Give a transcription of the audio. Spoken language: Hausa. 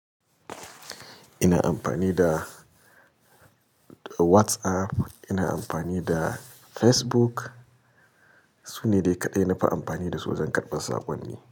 Ina amfani da WhatsApp, ina amfani da Facebook. Su ne dai kaɗai na fi amfani da su don karɓar saƙonni.